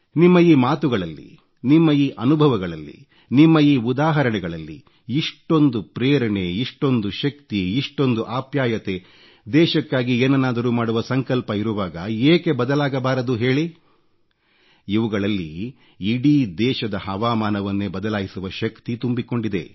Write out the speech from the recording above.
ನಿಮ್ಮ ಈ ಮಾತುಗಳಲ್ಲಿ ನಿಮ್ಮ ಈ ಅನುಭವಗಳಲ್ಲಿ ನಿಮ್ಮ ಈ ಉದಾಹರಣೆಗಳಲ್ಲಿ ಇಷ್ಟೊಂದು ಪ್ರೇರಣೆ ಇಷ್ಟೊಂದು ಶಕ್ತಿ ಇಷ್ಟೊಂದು ಅಪ್ಯಾಯತೆ ದೇಶಕ್ಕಾಗಿ ಏನನ್ನಾದರೂ ಮಾಡುವ ಸಂಕಲ್ಪ ಇರುವಾಗ ಏಕೆ ಬದಲಾಗಬಾರದು ಹೇಳಿ ಇವುಗಳಲ್ಲಿ ಇಡೀ ದೇಶದ ಹವಾಮಾನವನ್ನೇ ಬದಲಾಯಿಸುವ ಶಕ್ತಿ ತುಂಬಿಕೊಂಡಿದೆ